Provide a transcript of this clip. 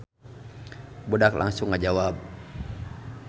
Budak langsung ngajawab.